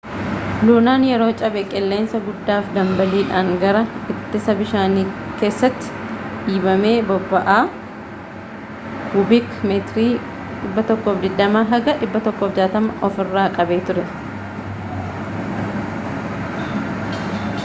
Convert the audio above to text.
lunaan yeroo cabee qilleensa guddaafi dambaliidhaan gara ittisa bishaanii keessatti dhiibame boba'aa kubiik metirii 120-160 of irraa qaba ture